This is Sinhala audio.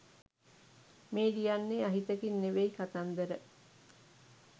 මේ ලියන්නේ අහිතකින් නෙවෙයි කතන්දර